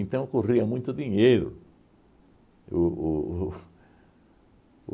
Então, corria muito dinheiro. O o o